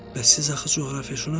Bəs siz axı coğrafiyaşünassınız.